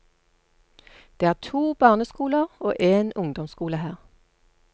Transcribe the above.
Det er to barneskoler og en ungdomsskole her.